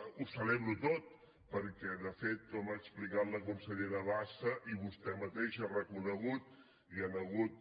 ho celebro tot perquè de fet com ha explicat la consellera bassa i vostè mateix ha reconegut hi han hagut